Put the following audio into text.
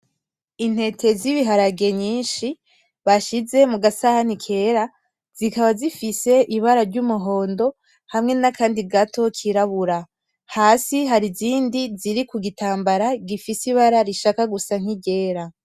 Intete zibiharage nyinshi bashize mugasahani kera zikaba zifise ibara ry'umuhondo hamwe nakandi gato kirabura hasi harizindi ziri ku gitambara gifise ibara rishaka gusa nkiryera.